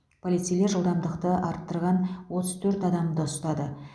полицейлер жылдамдықты асырған отыз төрт адамды ұстады